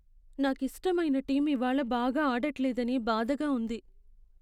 నాకిష్టమైన టీమ్ ఇవాళ్ళ బాగా ఆడట్లేదని బాధగా ఉంది.